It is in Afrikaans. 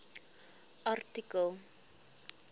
artikel